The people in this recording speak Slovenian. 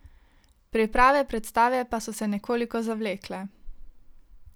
Priprave predstave pa so se nekoliko zavlekle.